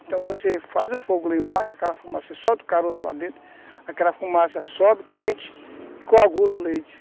Então você faz o fogo lá embaixo, aquela fumaça, você solta o caroço lá dentro, aquela fumaça sobe quente e coagula o leite.